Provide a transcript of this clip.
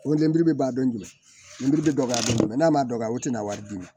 Ko lenburu bɛ ban don min bɛ dɔgɔya dɔɔni n'a ma dɔgɔya o tɛ na wari di